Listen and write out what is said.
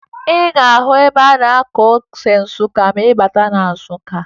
Ị ga-ahụ ebe a na-akụ ose Nsụka ma ị bata na Nsụka